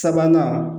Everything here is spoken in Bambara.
Sabanan